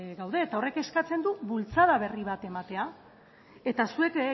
gaude eta horrek eskatzen du bultzada berri bat ematea eta zuek